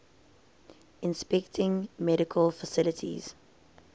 inspecting medical facilities